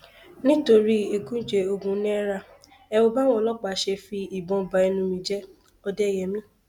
nítorí ẹgúnjẹ ogún náírà ẹ wo báwọn ọlọpàá ṣe fi ìbọn bá ẹnu mi jẹ òdẹyẹmi